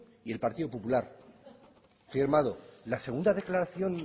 y el partido popular firmado la segunda declaración